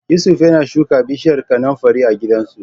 Yusuf yana shuka bishiyar kanunfari a gidansu.